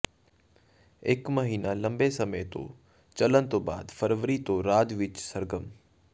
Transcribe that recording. ਇਕ ਮਹੀਨਾ ਲੰਬੇ ਸਮੇਂ ਤੋਂ ਚੱਲਣ ਤੋਂ ਬਾਅਦ ਫਰਵਰੀ ਤੋਂ ਰਾਜ ਵਿਚ ਸਰਗਰਮ